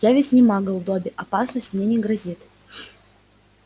я ведь не магл добби опасность мне не грозит